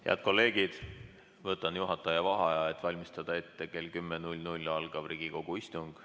Head kolleegid, võtan juhataja vaheaja, et valmistada ette kell 10 algav Riigikogu istung.